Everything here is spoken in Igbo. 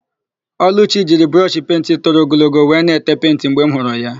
Ọlụchi jiri brọshị penti toro ogologo wee na-ete penti mgbe m hụrụ ya.